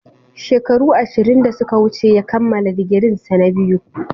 Shekaru ashirin da suka wuce ya kammala digirinsa na biyu.